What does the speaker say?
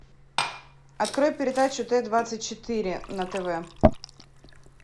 открой передачу т двадцать четыре на тв